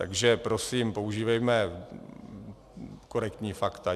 Takže prosím, používejme korektní fakta.